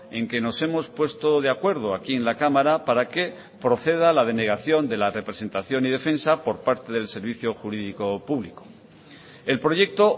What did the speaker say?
en que nos hemos puesto de acuerdo aquí en la cámara para que proceda la denegación de la representación y defensa por parte del servicio jurídico público el proyecto